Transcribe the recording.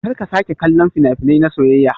Karka sake kallon fina-finai na soyayya.